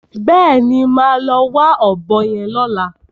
Bẹ́ẹ̀ni, màá lọ wá ọ̀bọ yẹn lọ́la.